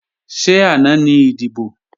Ṣé àná ni ìdìbò?